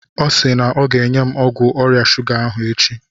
Ọ si na ọ ga-enye m ọgwụ ọrịa shuga ahụ echi.